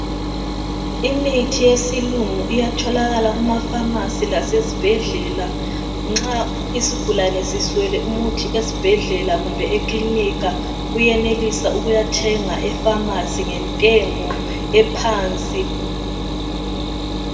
Imithi yesilungu iyatholakala kuma"pharmacy" lasezibhedlela. Nxa isigulane siswele umuthi esibhedlela kumbe ekilinika uyenelisa ukuyathenga e"pharmacy " ngentengo ephansi.